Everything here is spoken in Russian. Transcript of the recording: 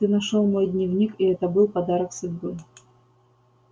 ты нашёл мой дневник и это был подарок судьбы